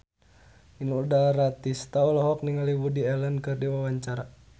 Inul Daratista olohok ningali Woody Allen keur diwawancara